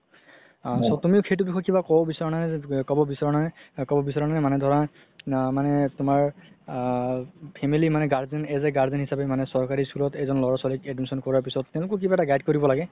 আ তুমি সেইটো বিষয়ত কিবা ক'ব বিচাৰা নে ক'ব বিচাৰা নে, ক'ব বিচাৰা নে মানে ধৰা মানে তুমাৰ আ family মানে guardian as a guardian হিচাপে চৰকাৰি school ত এজন ল'ৰা ছোৱালি admission কৰা পিছত তেওঁলোকো কিবা এটা guide কৰিব লাগে